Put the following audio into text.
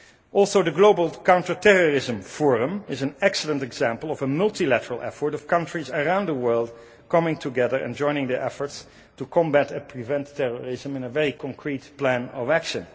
Also the global Counterterrorism Forum is an excellent example of a multilateral effort of countries around the world coming together and joining their efforts to combat and prevent terrorism in a very concrete plan of action.